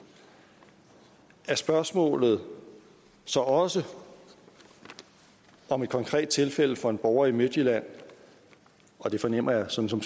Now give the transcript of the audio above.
er spørgsmålet så også om et konkret tilfælde for en borger i midtjylland og det fornemmer jeg som som